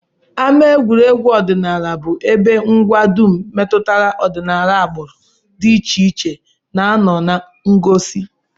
Ama egwuregwu Ọdịnala bụ ebe ngwa dum metụtara ọdịnala agbụrụ dị iche iche na-anọ na ngosi